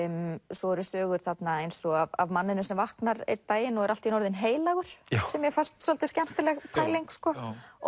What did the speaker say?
svo eru sögur þarna eins og af manninum sem vaknar einn daginn og er allt í einu orðinn heilagur sem mér fannst svolítið skemmtileg pæling sko